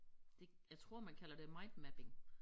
Det jeg tror man kalder det mindmapping